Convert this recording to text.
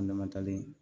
An dama talen